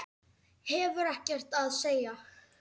Hefur ekkert að segja.